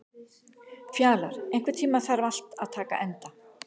Fjalar, einhvern tímann þarf allt að taka enda.